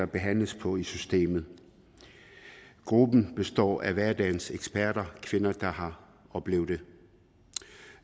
behandles på i systemet gruppen består af hverdagens eksperter kvinder der har oplevet det